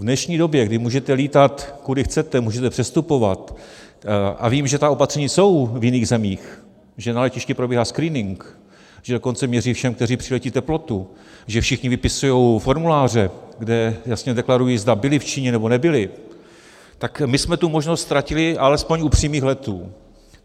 V dnešní době, kdy můžete lítat, kudy chcete, můžete přestupovat - a vím, že ta opatření jsou v jiných zemích, že na letišti probíhá screening, že dokonce měří všem, kteří přiletí, teplotu, že všichni vypisují formuláře, kde jasně deklarují, zda byli v Číně, nebo nebyli - tak my jsme tu možnost ztratili alespoň u přímých letů.